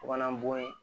Bagan bon ye